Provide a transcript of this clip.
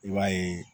I b'a ye